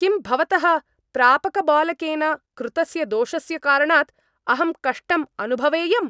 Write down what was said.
किं भवतः प्रापकबालकेन कृतस्य दोषस्य कारणात् अहं कष्टम् अनुभवेयम्?